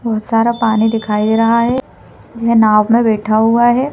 बहोत सारा पानी दिखाई दे रहा है यह नाव में बैठा हुआ है।